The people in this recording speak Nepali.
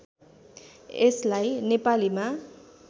यसलाई नेपालीमा